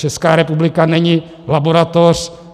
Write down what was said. Česká republika není laboratoř.